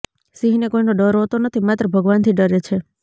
સિંહને કોઇનો ડર હોતો નથી માત્ર ભગવાનથી ડરે છે